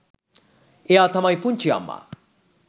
එයා තමයි පුංචි අම්මා